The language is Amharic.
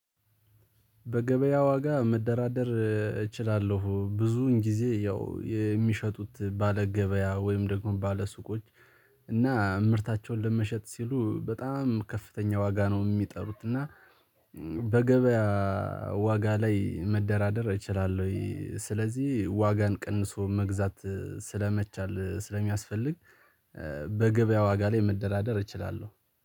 በገበያ ዋጋ መደራደር እችላለሁ ብዙውን ጊዜ ያው የሚሸጡት ባለ ገበያ ወይም ደግሞ ባለ ሱቆች። እና ምርታቸውን ለመሸጥ ሲሉ በጣም ከፍተኛ ዋጋ ነው የሚጠሩት እና። በገበያ ዋጋ ላይ መደራደር እችላለሁ? ወይ ስለዚህ ዋጋን ቀንሶ መግዛት ስለመቻል ስለሚያስፈልግ። በገበያ ዋጋ ላይ መደራደር እችላለሁ